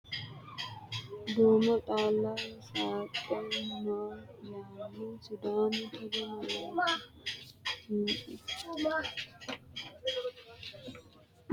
Duumo xaalla saaqe no yanno sidaamu togo malaata lairo gordu iima base tini horo waajishshanote ikkite kashilo taino gari kalaqote gadeti.